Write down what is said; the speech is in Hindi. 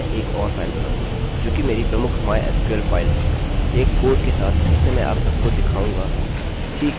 मैं एक और फाइल बनाऊँगा जोकि मेरी प्रमुख mysql फाइल है